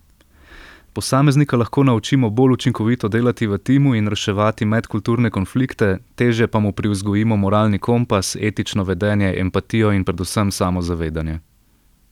Posameznika lahko naučimo bolj učinkovito delati v timu in reševati medkulturne konflikte, težje pa mu privzgojimo moralni kompas, etično vedenje, empatijo in predvsem samozavedanje.